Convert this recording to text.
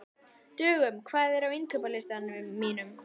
Dögun, hvað er á innkaupalistanum mínum?